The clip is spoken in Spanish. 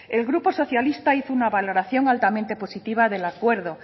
el grupo socialista hizo una valoración altamente positiva del acuerdo